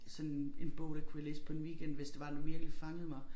Sådan en bog der kunne jeg læse på en weekend hvis det var den virkelig fangede mig